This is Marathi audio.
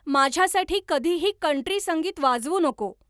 माझ्यासाठी कधीही कंट्री संगीत वाजवू नको